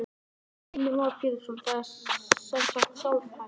Heimir Már Pétursson: Það er sem sagt sjálfhætt?